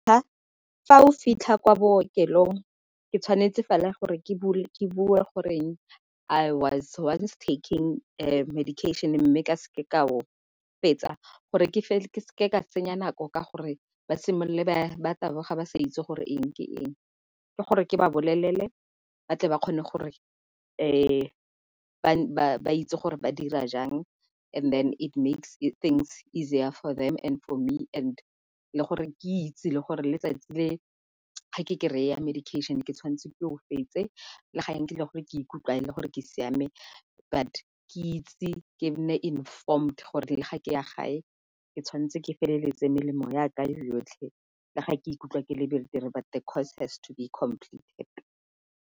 Fa o fitlha kwa bookelong ke tshwanetse fela gore ke bue goreng I was once a was once taking medication mme ke seke ka o fetsa. Gore ke seke ka senya nako ka gore ba simolole ba taboga ba sa itse gore eng ke eng, ke gore ke ba bolelele ba tle ba kgone gore ba itse gore ba dira jang and then it makes things easier for them and for me and le gore ke itse le gore letsatsi le ga ke kry-a medication ke tshwanetse ke o fetse. Le ga e le gore ke ikutlwa e le gore ke siame, but ke itse ke nne informed le ga ke ya gae ke tshwanetse ke feleletse melemo ya ka e yotlhe le ga ke ikutlwa ke le betere but the course has to be completed.